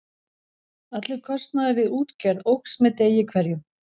Allur kostnaður við útgerð óx með degi hverjum.